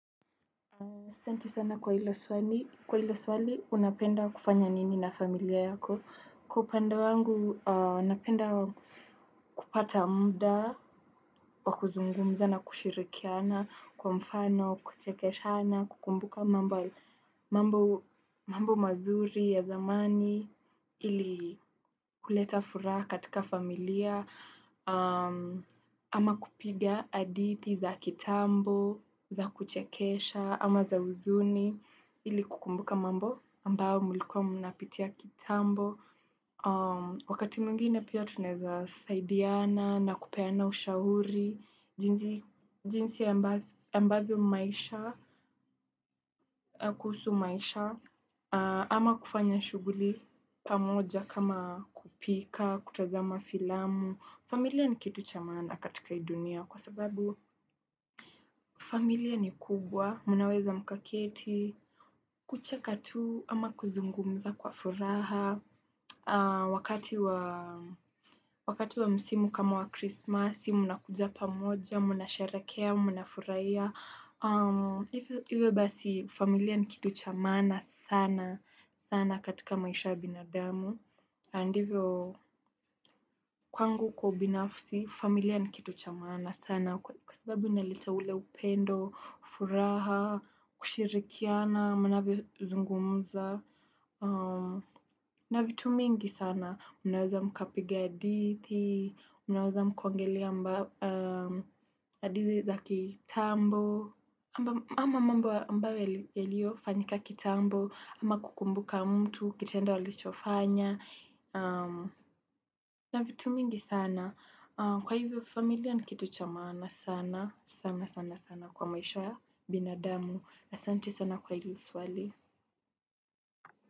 Asanti sana kwa hilo swali, unapenda kufanya nini na familia yako. Kwa upande wangu, napenda kupata muda, wakuzungumza na kushirikiana, kwa mfano, kuchekeshana, kukumbuka mambo mambo mazuri ya zamani, ili kuleta furaha katika familia, ama kupiga adithii za kitambo, za kuchekesha, ama za huzuni Ili kukumbuka mambo ambao mlikuwa mnapitia kitambo Wakati mwngine pia tunaeza saidiana na kupena ushauri jinsi ya mbavyo maisha, kuhusu maisha ama kufanya shughuli pamoja kama kupika, kutazama filamu familia ni kitu cha maana katika hii dunia kwa sababu familia ni kubwa, mnaweza mkaketi, kucha katu ama kuzungumza kwa furaha, wakati wa msimu kama wa krismasi, mnakuja pamoja, munasherekea, mnafuraia. Iwe basi familia ni kitu cha maana sana sana katika maisha ya binadamu Andivyo kwangu kwa ubinafsi familia ni kitu cha maana sana Kwa sababu inaleta ule upendo furaha, kushirikiana Manavyozungumza na vitu mingi sana Unaweza mkapigia adithi Unaweza mkaongelea adithi za kitambo ama mambo amabayo yalio fanyika kitambo ama kukumbuka mtu Kitendo alichofanya na vitu mingi sana Kwa hivyo familia ni kitu cha maana sana sana sana sana kwa maisha binadamu asanti sana kwa hili swali.